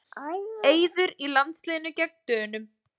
Eiður í landsliðinu gegn Dönum